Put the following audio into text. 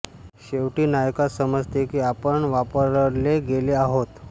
शेवटी नायकास समजते की आपण वापरले गेले आहोत